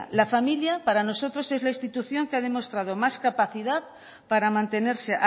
la familias para nosotros es la institución que ha demostrado más capacidad para mantenerse